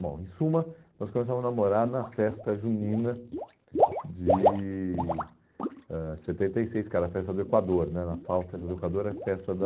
Bom, em suma, nós começamos a namorar na festa junina de ãh setenta e seis, cara, a festa do Equador né, na FAU a festa do Equador é a festa da...